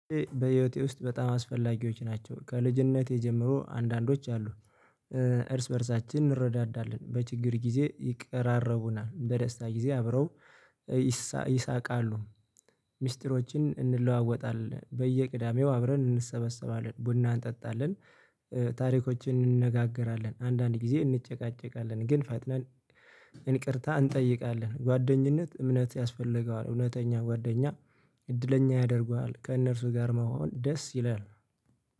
በህይወቴ ውስጥ በጣም አስፈላጊዎች ናቸው። ከልጅነቴ ጀምሮ አንዳንዶች አሉ እርስ በእርሳችን እንረዳዳለን በችግር ጊዜ ይቀራረቡናል በደስታ ጊዜ አብረው ይሳቃሉ። ሚስጥሮችን እንለዋወጣለን በየቅዳሜው አብረን እንሰበሰባለን ቡና እንጠጣለን። ታሪኮችን እንነጋገራለን አንዳንድ ጊዜ እንጨቃጨቃለን ግን ፈጥነን እንቅርታ እንጠይቃለን። ጓደኝነት እምነት ያስፈልገዋል እውነተኛ ጓደኛ እድለኛ ያደርገዋል። ከእነርሱ ጋር መሆን ደስ ይላል።